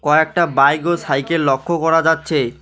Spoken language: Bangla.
কয়েকটা বাইক ও সাইকেল লক্ষ্য করা যাচ্ছে।